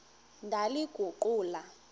ndaliguqula